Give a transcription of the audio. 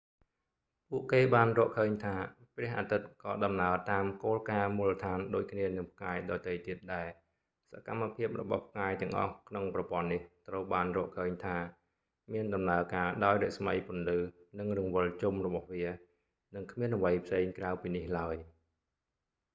ពួកគេបានរកឃើញថា ព្រះអាទិត្យក៏ដំណើរតាមគោលការណ៍មូលដ្ឋានដូចគ្នានឹងផ្កាយដទៃទៀតដែរ៖ សកម្មភាពភាពរបស់ផ្កាយទាំងអស់ក្នុងប្រព័ន្ធនេះ ត្រូវបានរកឃើញថា មានដំណើរការដោយរស្មីពន្លឺ និងរង្វិលជុំរបស់វា និងគ្មានអ្វីផ្សេងក្រៅពីនេះឡើយ